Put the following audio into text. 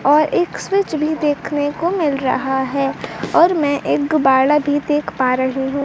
और एक स्विच भी देखने को मिल रहा है और मैं एक गुबाड़ा भी देख पा रही हूं।